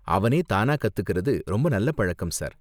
அவனே தானா கத்துக்கிறது ரொம்ப நல்ல பழக்கம், சார்.